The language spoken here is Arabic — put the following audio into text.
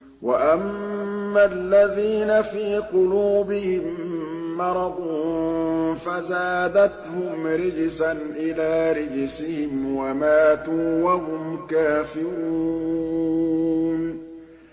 وَأَمَّا الَّذِينَ فِي قُلُوبِهِم مَّرَضٌ فَزَادَتْهُمْ رِجْسًا إِلَىٰ رِجْسِهِمْ وَمَاتُوا وَهُمْ كَافِرُونَ